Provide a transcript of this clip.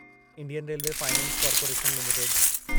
Indian railway finance corporation limited